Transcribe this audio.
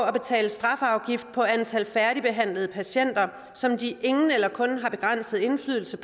at betale strafafgift på antallet af færdigbehandlede patienter som de ingen eller kun begrænset indflydelse